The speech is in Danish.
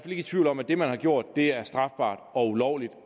i tvivl om at det man har gjort er strafbart og ulovligt